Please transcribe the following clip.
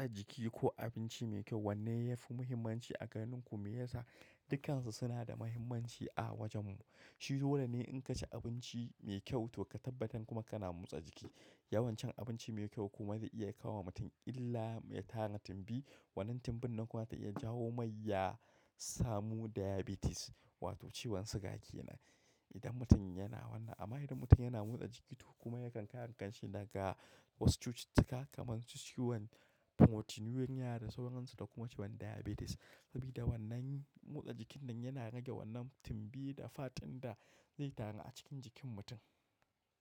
Motsa jiki ko abinci mai kyau wanne yafi muhimmanci a ganin ku? Me yasa? Dukansu sunada muhimmanci a wajen mu. Shi dolene in kaci abinci mai kyau to ka tabbatar kuma kana motsa jiki. Yawan cin abinci mai kyau kuma zai iya kawowa mutum illa mai tara timbi. Wannan timbin nan kuma zai iya jawo mai yasamu diabetes wato ciwon siga kenan. Idan mutum yana wannan, amma idan mutum yana motsa jiki to kuma yakan kare kanshi daga wasu cututtuka kamarsu ciwon pamotinia da sauransu da kuma ciwon diabetes. Sabida wannan motsa jikinnan yana rage wannan timbi da fat ɗinda zai taru a cikin jikin mutum.